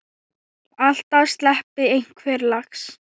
Alltaf sleppi einhver lax.